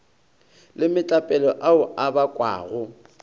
le metlapelo ao a bakwago